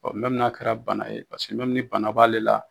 Ɔ mɛmi n'a kɛra bana ye paseke mɛmi ni bana b'ale la